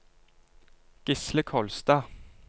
Gisle Kolstad